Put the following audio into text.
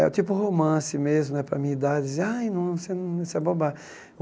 É o tipo romance mesmo né para a minha idade. Eu dizia ah isso é